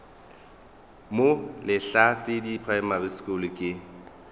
mo lehlasedi primary school ke